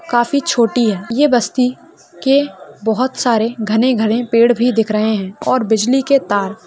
काफी छोटी है ये बस्ती के बहुत सारे घने-घने पेड़ भी दिख रहे है और बिजली के तार --